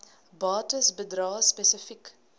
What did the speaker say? bates bedrae spesifiek